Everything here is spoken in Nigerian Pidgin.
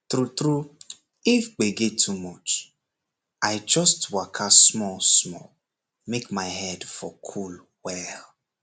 true true if gbege too much i just waka smallsmall make my head for for cool well